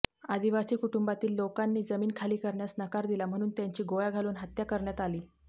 आदिवासी कुटुंबातील लोकांनी जमीन खाली करण्यास नकार दिला म्हणून त्यांची गोळ्या घालून हत्या करण्यात आली